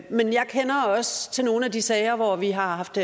men jeg kender også til nogle af de sager hvor vi har haft